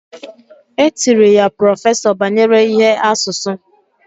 Etiri ya prọfesọ banyere ihe asusu